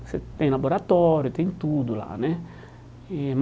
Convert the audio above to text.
Você tem laboratório, tem tudo lá, né? E